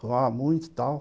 Fumava muito e tal.